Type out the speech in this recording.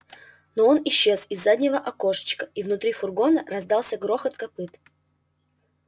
но он исчез из заднего окошечка и внутри фургона раздался грохот копыт